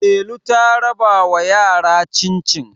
Delu ta rabawa yara cin-cin